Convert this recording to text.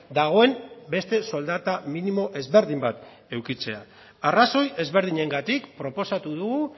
dagoen beste soldata minimo ezberdin bat edukitzea arrazoi ezberdinengatik proposatu dugu